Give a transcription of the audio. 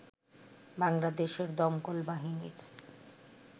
বাংলাদেশের দমকল বাহিনীর